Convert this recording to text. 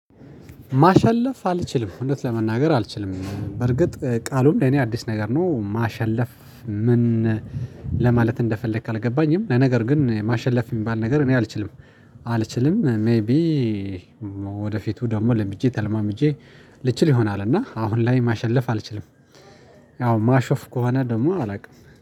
ማሸለፍ አልችልም እውነት ለመናገር አልችልም በርግጥ ቃሉም ለኔ አዲስ ነገር ነው። ማሸለፍ ምን ለማለት እንደፈለክ አልገባኝም። ለነገር ግን ማሸለፍ የሚባል ነገር እኔ አልችልም። አልችልም ሜይቢ ወደፊቱ ደግሞ ለምጄ ተለማምጄ ልችል ይሆናል። እና አሁን ላይ ማሸነፍ አልችልም። ያው ማሾፍ ከሆነ ደግሞ አላውቅም